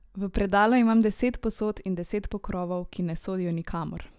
V predalu imam deset posod in deset pokrovov, ki ne sodijo nikamor.